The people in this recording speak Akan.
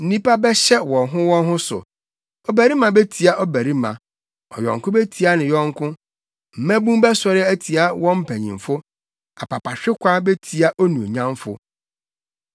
Nnipa bɛhyɛ wɔn ho wɔn ho so, ɔbarima betia ɔbarima, ɔyɔnko betia ne yɔnko. Mmabun bɛsɔre atia wɔn mpanyimfo, apapahwekwa betia onuonyamfo.